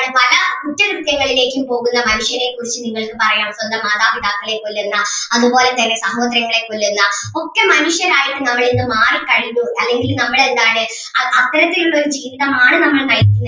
പല കുറ്റകൃത്യങ്ങളിലേക്കും പോകുന്ന മനുഷ്യനെ കുറിച്ച് നിങ്ങൾക്ക് പറയാം സ്വന്തം മാതാപിതാക്കളെ കൊല്ലുന്ന അതുപോലെ തന്നെ സഹോദരങ്ങളെ കൊല്ലുന്ന ഒക്കെ മനുഷ്യനായി നമ്മളിന്ന് മാറി കഴിഞ്ഞു അല്ലെങ്കിൽ നമ്മൾ എന്താണ് അത്തരത്തിൽ ഉള്ള ഒരു ജീവിതം ആണ് നമ്മൾ നയിക്കുന്നത്.